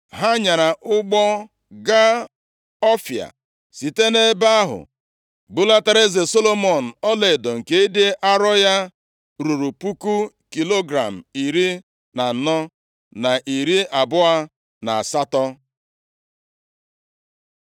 Ha nyaara ụgbọ gaa Ọfịa, + 9:28 Ọtụtụ mmadụ na-ama atụ ebe a ga-enwe ike chọta obodo Ọfịa taa. Ụfọdụ na-asị, na ọ bụ nʼọnụ mmiri Arebịa ka ọ dị, ndị ọzọ na-asị, ọ bụ na mpaghara akụkụ ọnụ mmiri Sọmalia. Ebe ndị ọzọ na-asị, na ọ dị nʼala India maọbụ nʼala Zimbabwe. site nʼebe ahụ bulatara eze Solomọn ọlaedo nke ịdị arọ ya ruru puku kilogram iri na anọ na narị abụọ na asatọ.